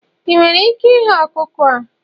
ị nwere ike ighe ọkụkọ a?